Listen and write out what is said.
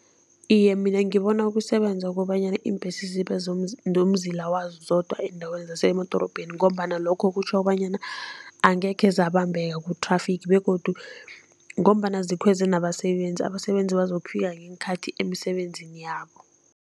Iye, mina ngibona kusebenza ukobanyana iimbhesi zibe nomzila wazo zodwa eendaweni zasemadorobheni ngombana lokho kutjho bonyana angekhe zabambeka ku-traffic begodu ngombana zikhweze nabasebenzi, abasebenzi bazokufika ngeenkhathi emisebenzini yabo.